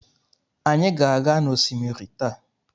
Anyị ga-aga n'osimiri taa.